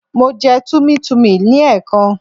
Mo jẹ Tummy tummy ní ẹ̀ẹ̀kan